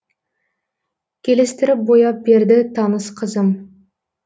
келістіріп бояп берді таныс қызым